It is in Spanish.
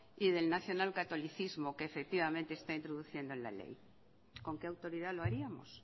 y del nacional catolicismo que efectivamente está introduciendo en la ley con qué autoridad lo haríamos